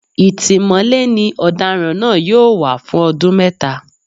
Ìtìmọ́lé ni ọ̀daràn náà yóò wà fún ọdún mẹ́ta